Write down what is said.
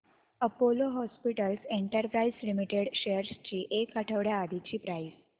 Apollo Hospitals Enterprise Limited shares ची एक आठवड्या आधीची प्राइस